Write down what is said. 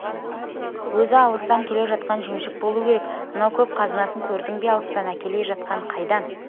өзі алыстан келе жатқан жемшік болу керек мынау көп қазынасын көрдің бе алыстан әкеле жатқан қайдан